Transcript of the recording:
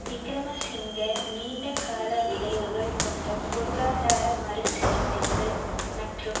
விக்கிரமசிங்க நீண்ட கால விளைவுகள் கொண்ட பொருளாதார மறுசீரமைப்பு மற்றும்